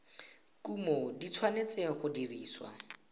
kumo di tshwanetse go dirisiwa